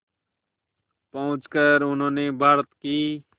पहुंचकर उन्होंने भारत की